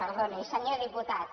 perdoni senyor diputat